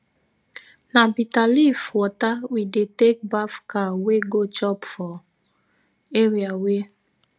na bita leaf wata we dey take baf cow wey go chop for area wey